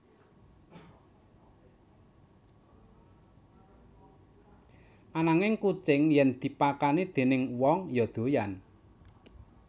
Ananging kucing yèn dipakani déning wong ya doyan